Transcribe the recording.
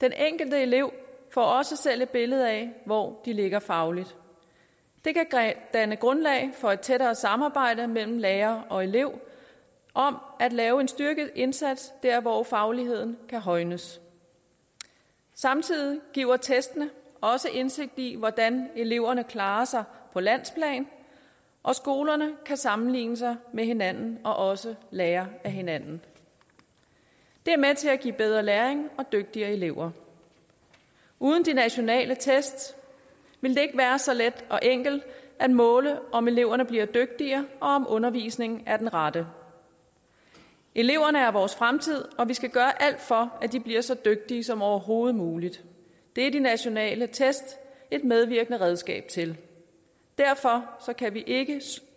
enkelte elever får også selv et billede af hvor de ligger fagligt det kan danne grundlag for et tættere samarbejde mellem lærer og elev om at lave en styrket indsats der hvor fagligheden kan højnes samtidig giver testene også indsigt i hvordan eleverne klarer sig på landsplan og skolerne kan sammenligne sig med hinanden og også lære af hinanden det er med til at give bedre læring og dygtigere elever uden de nationale test ville det ikke være så let og enkelt at måle om eleverne bliver dygtigere og om undervisningen er den rette eleverne er vores fremtid og vi skal gøre alt for at de bliver så dygtige som overhovedet muligt det er de nationale test et medvirkende redskab til derfor kan vi ikke